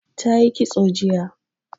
Ta yi kitso jiya